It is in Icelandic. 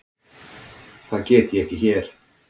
Það get ég ekki hér.